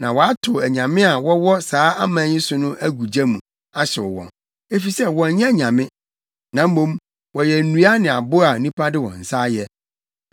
Na wɔatow anyame a wɔwɔ saa aman yi so no agu gya mu, ahyew wɔn, efisɛ wɔnyɛ anyame, na mmom wɔyɛ nnua ne abo a nnipa de wɔn nsa ayɛ.